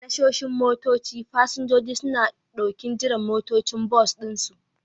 A tashoshin motoci, fasinjoji suna ɗokin jiran motocin bas ɗinsu.